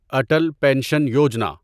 Atal pension Yojana